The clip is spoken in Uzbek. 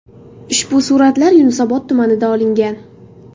Ushbu suratlar Yunusobod tumanida olingan.